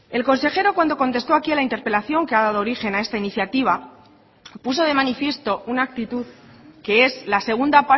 el consejero cuando contesto aquí a la interpelación que ha dado origen a esta iniciativa puso de manifiesto una actitud que es la segunda